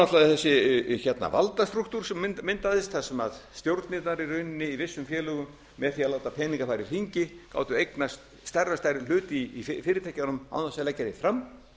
það náttúrlega þessi valdastrúktúr sem myndaðist þar sem stjórnirnar í rauninni í vissum félögum með því að láta peninga fara í hring gátu eignast stærri og stærri hlut í fyrirtækjunum án þess að leggja þau fram